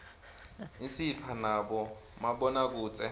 isipha nabomabonakudze